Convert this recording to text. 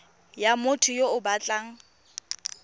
ya motho yo o batlang